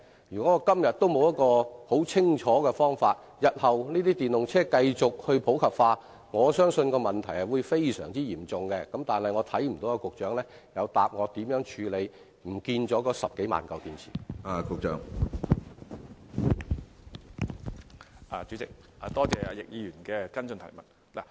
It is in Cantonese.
如果今天仍沒有一個清楚的處理方法，日後當電動車繼續普及，我相信問題會變得非常嚴重，但我聽不到局長有就如何處理那消失了的10多萬枚電池作出答覆。